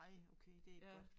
Nej okay det ikke godt